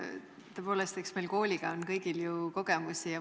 Tõepoolest, eks meil kooliga ole ju kõigil kogemusi.